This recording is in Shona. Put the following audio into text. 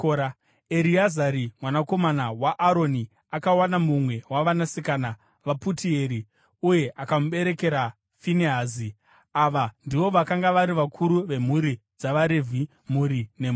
Ereazari mwanakomana waAroni akawana mumwe wavanasikana vaPutieri, uye akamuberekera Finehazi. Ava ndivo vakanga vari vakuru vemhuri dzavaRevhi, mhuri nemhuri.